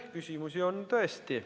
Küsimusi on tõesti.